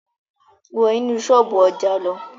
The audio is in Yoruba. Wọ́ inú ṣọ́ọ̀bú ọjà lọ!